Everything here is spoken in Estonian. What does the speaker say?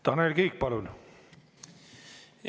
Tanel Kiik, palun!